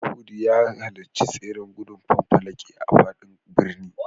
Mashood ya halarci tseren gudun fanfalaki a faɗin birni.